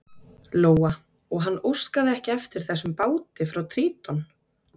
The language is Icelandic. Lóa: Og hann óskaði ekki eftir þessum báti frá Tríton?